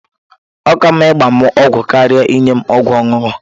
Ọ ka mma ịgba m ọgwụ karịa inye m ọgwụ ọṅụṅụ.